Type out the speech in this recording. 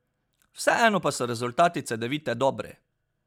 Vseeno pa so rezultati Cedevite dobri.